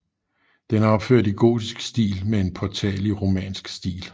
Den er opført i gotisk stil med en portal i romansk stil